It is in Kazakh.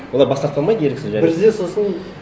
олар бас тарта алмайды еріксіз және бізде сосын